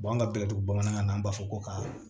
an ka bɛ latuba bamanankan na an b'a fɔ ko ka